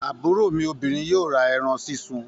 Àbúrò mi obirin yóò ra eran sísun